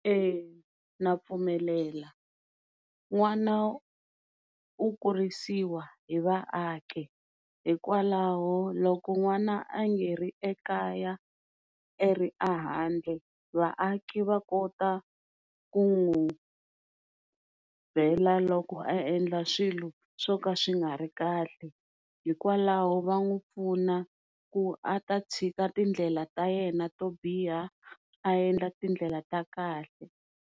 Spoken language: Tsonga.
Na pfumelela, n'wana u kurisawa hi vaaki hikwalaho loko n'wana angeri ekaya a ri ahandle vaaki va kota kunwu byela loko a endla swilo swoka swingari kahle hikwalaho va n'wi pfuna ku a ta tshika tindlela ta yena to biha a endla tindlela ta kahle.